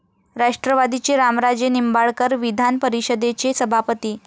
राष्ट्रवादीचे रामराजे निंबाळकर विधान परिषदेचे सभापती?